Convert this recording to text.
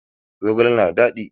Zogale na da dadi.